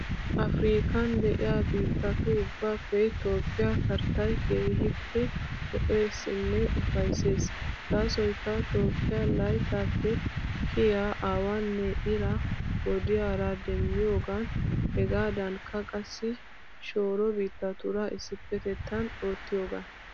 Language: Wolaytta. Afirkkan de'iya biittatu ubbaappe Toophphiya karittay keehippe lo'eesinne ufayissees. Gaasoyikka Toophphiya layittaappe kiyiya awaanne iraa wodiyaara demmiyoogan hegaadankka qassi shooro biittatuura issipetettan oottiyogan.